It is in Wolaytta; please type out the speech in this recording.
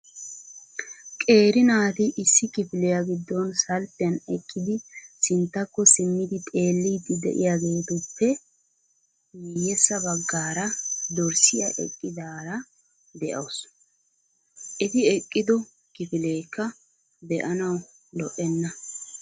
Qeeri naati issi kifiliya giddon salppiyan eqqidi sinttakko simmidi xeellidi de'iyaageetuppe miyyeessa baggaara dorssiya eqqidaara de'awus. Eti eqqido kifilekka be"anaw lo"enna.